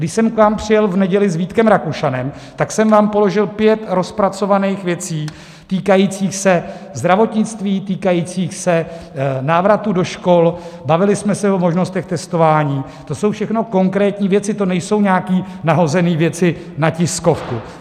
Když jsem k vám přijel v neděli s Vítkem Rakušanem, tak jsem vám položil pět rozpracovaných věcí, týkajících se zdravotnictví, týkajících se návratu do škol, bavili jsme se o možnostech testování, to jsou všechno konkrétní věci, to nejsou nějaké nahozené věci na tiskovku.